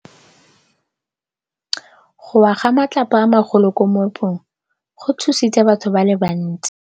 Go wa ga matlapa a magolo ko moepong go tshositse batho ba le bantsi.